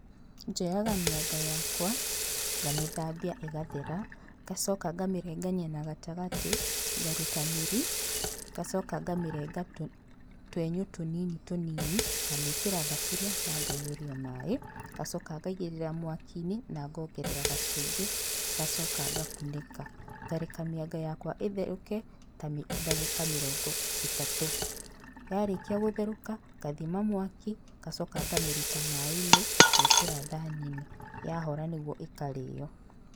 Njoyaga mĩanga yakwa ngamĩthambia ĩgathera, nagacoka ngamĩrengania na gatagatĩ, ngaruta mĩri, ngacoka ngamĩrengania twenyũ tũnini tũnini ngamĩkĩra thaburia na ngaiyuria maĩ, ngacoka ngaigĩrĩra mwakinĩ na ngongerera gacumbĩ, ngacoka ngakunĩka. Ngareka mĩanga yakwa ĩtherũke ta ndagĩka mĩrongo ĩtatũ. Yarĩkia gũtherũka, ngathima mwaki, ngacoka ngamĩruta maĩ-inĩ ngekĩra thani-inĩ, yahora nĩguo ĩkarĩo.